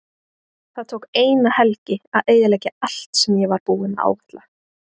Það tók eina helgi að eyðileggja allt sem ég var búinn að áætla.